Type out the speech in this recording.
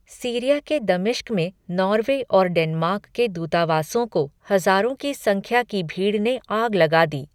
Syria के दमिश्क में नॉर्वे और डेनमार्क के दूतावासों को हजारों की संख्या की भीड़ ने आग लगा दी।